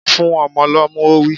Fún ọmọ lọ́mú! Ó wí.